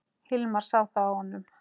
Hilmar sá það á honum.